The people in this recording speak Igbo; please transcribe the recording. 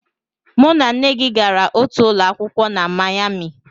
Mụ na nne gị gara otu ụlọ akwụkwọ na Mayami